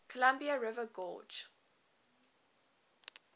columbia river gorge